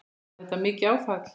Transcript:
Var þetta mikið áfall?